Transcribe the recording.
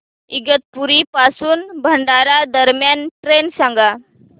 इगतपुरी पासून भंडारा दरम्यान ट्रेन सांगा